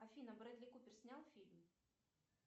афина брэдли купер снял фильм